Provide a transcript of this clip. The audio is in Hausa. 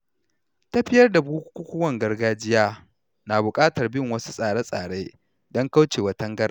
Tafiyar da bukukuwan gargajiya na buƙatar bin wasu tsare-tsare don kauce wa tangarɗa.